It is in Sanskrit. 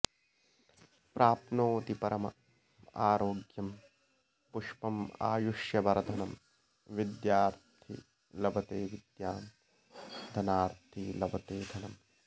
प्राप्नोति परम आरोग्यम् पुण्यमायुष्यवर्धनम् विद्यार्थी लभते विद्याम् धनार्थी लभते धनम्